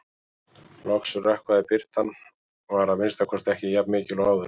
Loks rökkvaði- birtan var að minnsta kosti ekki jafn mikil og áður.